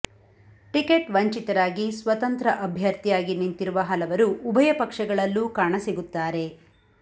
ticket ವಂಚಿತರಾಗಿ ಸ್ವತಂತ್ರ ಅಭ್ಯರ್ಥಿಯಾಗಿ ನಿಂತಿರುವ ಹಲವರು ಉಭಯ ಪಕ್ಷಗಳಲ್ಲೂ ಕಾಣಸಿಗುತ್ತಾರೆ